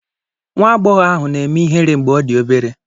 Nwa agbọghọ ahụ na-eme ihere mgbe ọ dị obere.